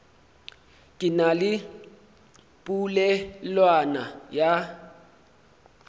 ke na le polelwana ya